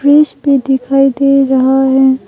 भी दिखाई दे रहा है।